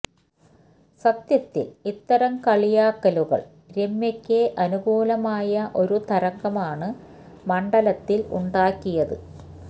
സത്യത്തിൽ ഇത്തരം കളിയാക്കലുകൾ രമ്യക്ക് അനുകൂലമായ ഒരു തരംഗമാണ് മണ്ഡലത്തിൽ ഉണ്ടാക്കിയത്